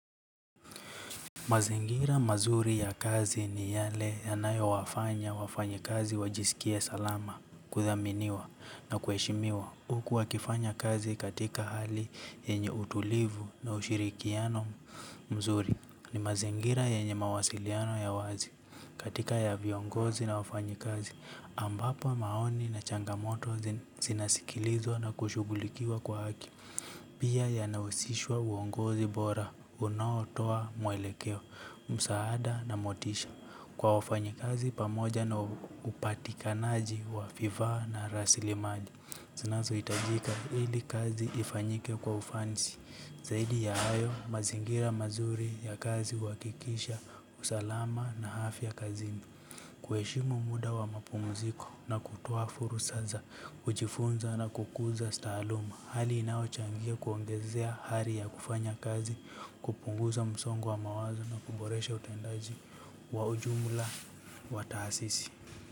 Mazingira mazuri ya kazi ni yale yanayo wafanya wafanya kazi wajisikie salama kuthaminiwa na kueshimiwa huku wakifanya kazi katika hali yenye utulivu na ushirikiano mzuri ni mazingira yenye mawasiliano ya wazi katika ya viongozi na wafanyi kazi ambapo maoni na changamoto zinasikilizwa na kushugulikiwa kwa haki. Pia ya nausishwa uongozi bora, unaotoa mwelekeo, msaada na motisha, kwa wafanyikazi pamoja na upatikanaji wa vifaa na rasilimali. Zinazo itajika ili kazi ifanyike kwa ufanisi, zaidi ya hayo, mazingira mazuri ya kazi uakikisha, usalama na hafya kazini. Kuheshimu muda wa mapumuziko na kutoa furusa za kujifunza na kukuza stahaluma, hali inaochangia kuongezea hari ya kufanya kazi, kupunguza msongo wa mawazo na kuboresha utendaji wa ujumula wa taasisi.